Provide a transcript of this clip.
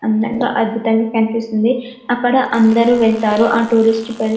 అందంగా అద్భుతంగా కన్పిస్తున్నాయి అక్కడ అందరు వెళ్తారు ఆ టూరిస్ట్ స్పాట్ కి --